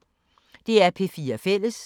DR P4 Fælles